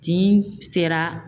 tin sera.